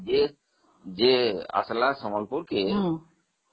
ଯେ ଆସିଲା ସମ୍ବଲପୁର କୁ